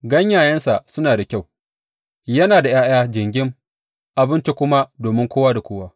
Ganyayensa suna da kyau, yana da ’ya’ya jingim, abinci kuma domin kowa da kowa.